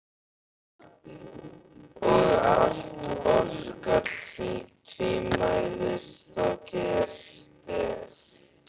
Og allt orkar tvímælis þá gert er.